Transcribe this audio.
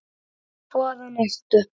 Hvaðan ertu?